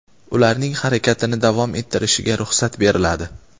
ularning harakatini davom ettirishiga ruxsat beriladi.